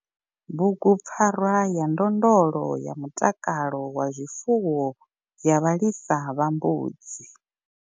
Bugupfarwa ya ndondolo ya mutakalo wa zwifuwo ya vhalisa vha mbudzi.